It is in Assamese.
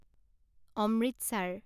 অমৃতচাৰ